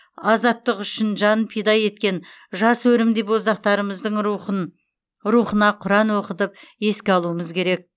азаттық үшін жанын пида еткен жас өрімдей боздақтарымыздың рухына құран оқытып еске алумыз керек